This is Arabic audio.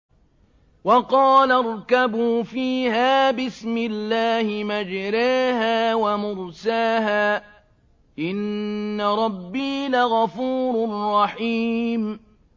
۞ وَقَالَ ارْكَبُوا فِيهَا بِسْمِ اللَّهِ مَجْرَاهَا وَمُرْسَاهَا ۚ إِنَّ رَبِّي لَغَفُورٌ رَّحِيمٌ